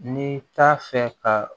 Ni t'a fɛ ka